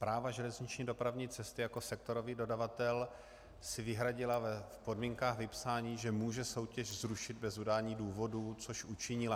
Správa železniční dopravní cesty jako sektorový dodavatel si vyhradila v podmínkách vypsání, že může soutěž zrušit bez udání důvodů, což učinila.